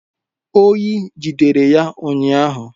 Oyi jidere ya ụnyahụ